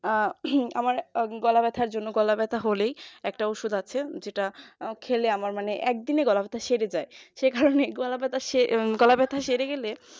আহ আমার গলা ব্যথা জন্য গলা ব্যথা হলেই একটা ওষুধ আছে যেটা খেলে আমার একদিনে গলা ব্যথা সেরে যায় সেখানে গলা ব্যথা সে এ গলা ব্যথা সেরে গেলে